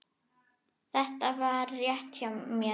Var þetta rétt hjá mér?